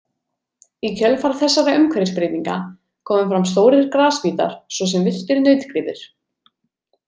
Í kjölfar þessara umhverfisbreytinga komu fram stórir grasbítar svo sem villtir nautgripir.